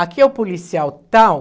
Aqui é o policial tal.